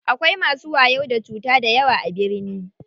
Akwai masu wayo da cuta dayawa a birni.